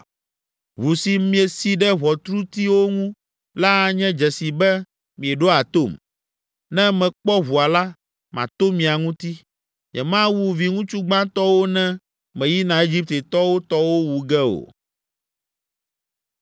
Ʋu si miesi ɖe ʋɔtrutiwo ŋu la anye dzesi be mieɖoa tom. Ne mekpɔ ʋua la, mato mia ŋuti. Nyemawu viŋutsu gbãtɔwo ne meyina Egiptetɔwo tɔwo wu ge o.